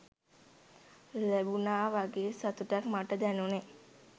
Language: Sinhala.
ලැබුනා වගේ සතුටක් මට දැනුනේ.